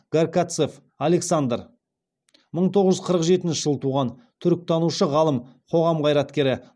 гарькавец александр мың тоғыз жүз қырық жетінші жылы туған түркітанушы ғалым қоғам қайраткері